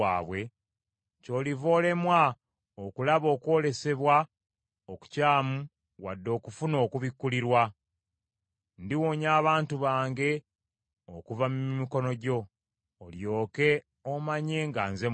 ky’oliva olemwa okulaba okwolesebwa okukyamu wadde okufuna okubikkulirwa. Ndiwonya abantu bange okuva mu mikono gyo, olyokye omanye nga nze Mukama Katonda.’ ”